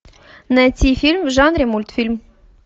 найти фильм в жанре мультфильм